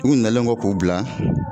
U nalen kɔ k'u bila.